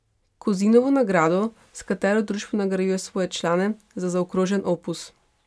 Kozinovo nagrado, s katero društvo nagrajuje svoje člane za zaokrožen opus.